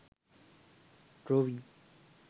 drawing